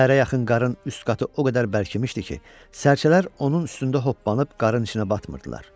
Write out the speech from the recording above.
Səhərə yaxın qarın üst qatı o qədər bərkimişdi ki, sərçələr onun üstündə hoppanıb qarın içinə batmırdılar.